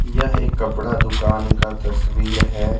यह एक कपड़ा दुकान का तस्वीर है।